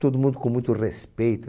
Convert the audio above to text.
Todo mundo com muito respeito.